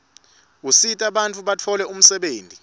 usita bantfu batfole umsebenti